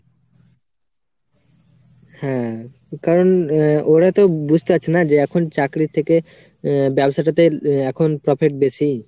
হ্যা কারণ ওরাতো বুজতে পারছে না যে এখন চাকরির থেকে আ~ ব্যবসাটাতে এখন profit বেশি